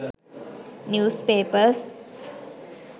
newspapers